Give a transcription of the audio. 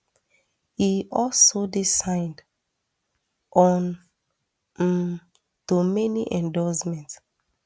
e also dey signed on um to many endorsement